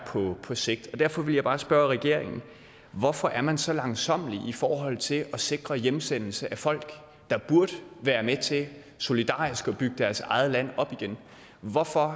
på sigt derfor vil jeg bare spørge regeringen hvorfor er man så langsommelig i forhold til at sikre hjemsendelse af folk der burde være med til solidarisk at bygge deres eget land op igen hvorfor